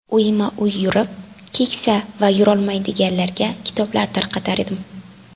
Uyma-uy yurib, keksa va yurolmaydiganlarga kitoblar tarqatardim.